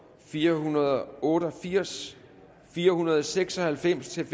fire hundrede og otte og firs fire hundrede og seks og halvfems til